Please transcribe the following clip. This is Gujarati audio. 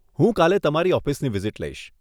હું કાલે તમારી ઓફિસની વિઝિટ લઇશ.